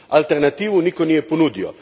Alternativu nitko nije ponudio.